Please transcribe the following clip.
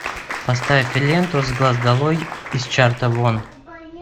поставь ленту с глаз долой из чарта вон